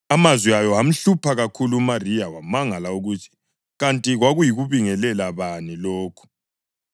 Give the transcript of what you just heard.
Amazwi ayo amhlupha kakhulu uMariya wamangala ukuthi kanti kwakuyikubingelela bani lokhu.